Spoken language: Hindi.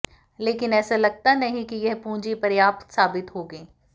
लेकिन ऐसा लगता नहीं कि यह पूंजी पर्याप्त साबित होगी